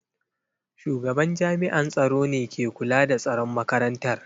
Shugaban jami’an tsaro ne ke kula da tsaron makarantar.